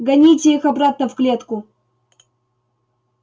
гоните их обратно в клетку